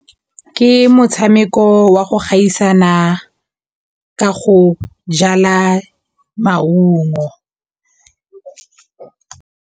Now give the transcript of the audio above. Ke motshameko wa go gaisana ka go jala maungo.